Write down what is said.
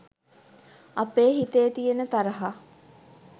අපේ හිතේ තියෙන තරහා.